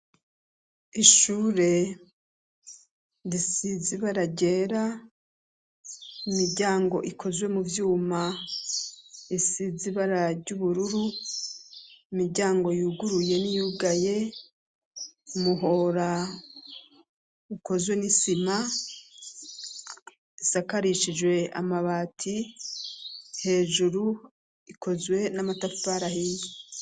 Ishure risize ibara ryera imijyango ikozwe mu byuma isizibara gy'ubururu imijyango yuguruye n'iyugaye muhora ukozwe n'isima isakarishijwe amabati hejuru ikozwe n'amatafari ahiye.